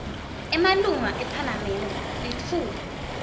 emalunga ephalamende litfuba